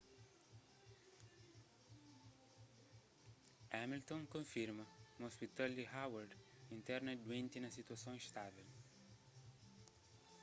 hamilton konfirma ma ôspital di howard interna duenti na situason istável